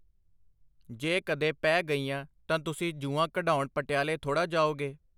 ਜੇ ਕਦੇ ਪੈ ਗਈਆਂ ਤਾਂ ਤੁਸੀਂ ਜੂੰਆਂ ਕਢਾਉਣ ਪਟਿਆਲੇ ਥੋੜ੍ਹਾ ਜਾਓਗੇ.